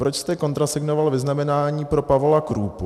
Proč jste kontrasignoval vyznamenání pro Pavola Krúpu?